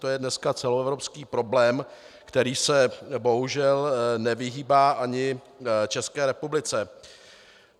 To je dneska celoevropský problém, který se bohužel nevyhýbá ani České republice.